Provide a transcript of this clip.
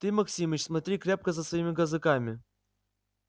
ты максимыч смотри крепко за своими казаками